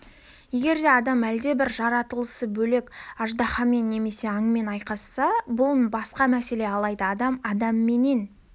егер де адам әлдебір жаратылысы бөлек аждаһамен немесе аңмен айқасса бұл басқа мәселе алайда адам адамменен